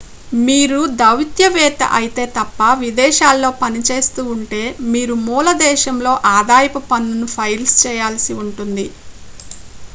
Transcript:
మీరు దౌత్యవేత్త అయితే తప్ప విదేశాల్లో పనిచేస్తూ ఉంటే మీరు మూల దేశంలో ఆదాయపు పన్నును ఫైల్ చేయాల్సి ఉంటుంది